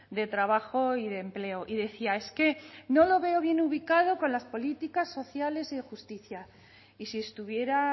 de trabajo y de empleo y decía es que no lo veo bien ubicado con las políticas sociales y de justicia y si estuviera